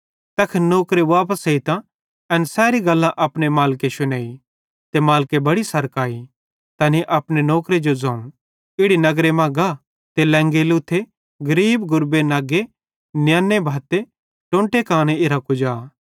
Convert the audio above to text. तैखन नौकरे वापस एइतां एन सैरी गल्लां अपने मालिके शुनेईं त मालिके बड़ी सरक अई तैनी अपने नौकरे जो ज़ोवं इस नगर मां गा ते लेंगे लुथे गरीब गुरबे नग्गे नियन्ने भत्ते टोंटे कानो इरां कुजा